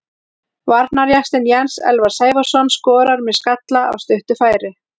Varnarjaxlinn Jens Elvar Sævarsson skorar með skalla af stuttu færi.